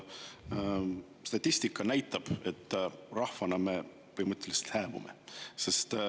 Statistika näitab, et rahvana me põhimõtteliselt hääbume.